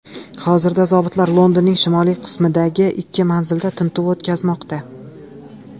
Hozirda zobitlar Londonning shimoliy qismidagi ikki manzilda tintuv o‘tkazmoqda.